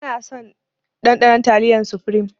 Bana son ɗanɗanon taliyar sufrim